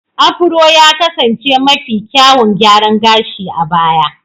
Afuro ya kasance mafi kyawun gyaran gashi a baya.